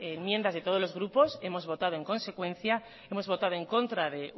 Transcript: enmiendas de todos los grupos hemos votado en consecuencia hemos votado en contra de